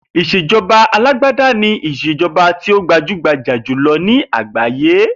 Ètò ìs̩èjo̩ba alágbádá ni ìs̩èjo̩ba tí ó gbajúgbajà jùlo̩ ní àgbáyé